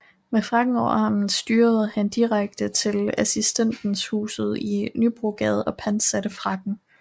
Med frakken over armen styrede han direkte hen til Assistenshuset i Nybrogade og pantsatte frakken